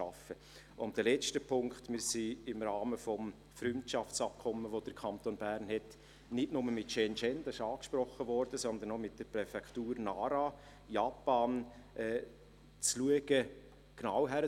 Und ein letzter Punkt: Wir sind daran, im Rahmen des Freundschaftsabkommens, das der Kanton Bern nicht nur mit Shenzhen hat – dieses wurde angesprochen –, sondern auch mit der Präfektur Nara, Japan, genau hinzuschauen.